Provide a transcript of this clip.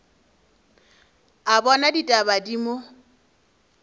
a bona ditaba di mo